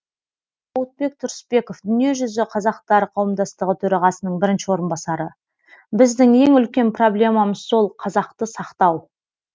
зауытбек тұрысбеков дүниежүзі қазақтары қауымдастығы төрағасының бірінші орынбасары біздің ең үлкен проблемамыз сол қазақты сақтау